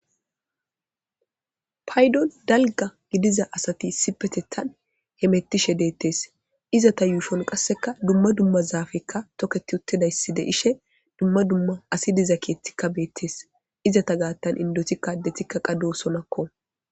paydon dalga gidiza asati isipetethan he hettishe deettes izata yuufon qasseka dumma dumma zaafekka toketi uttidaysside ishe dumma dumma asi diza keettikka beettes izata gaattan indoti kaadetikka qado sonakko